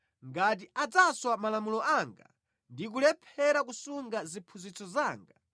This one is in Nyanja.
ngati adzaswa malamulo anga ndi kulephera kusunga ziphunzitso zanga,